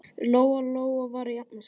Lóa-Lóa var að jafna sig.